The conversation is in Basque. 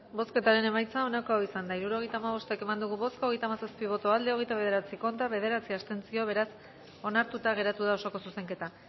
bozketaren emaitza onako izan da hirurogeita hamabost eman dugu bozka hogeita hamazazpi boto aldekoa hogeita bederatzi contra bederatzi abstentzio beraz onartuta geratu da osoko zuzenketa